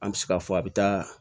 An bɛ se k'a fɔ a bɛ taa